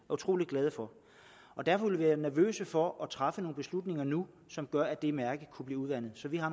utrolig glade for derfor vil vi være nervøse for at træffe nogle beslutninger nu som gør at det mærke kunne blive udvandet så vi har